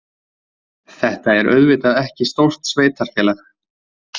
Þetta er auðvitað ekki stórt sveitarfélag.